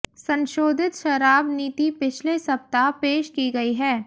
संशोधित शराब नीति पिछले सप्ताह पेश की गई है